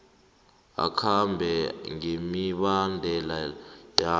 akhambe ngemibandela yawo